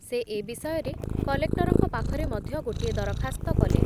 ସେ ଏ ବିଷୟରେ କଲେକ୍ଟରଙ୍କ ପାଖରେ ମଧ୍ୟ ଗୋଟିଏ ଦରଖାସ୍ତ କଲେ ।